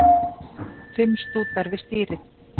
Fimm stútar við stýrið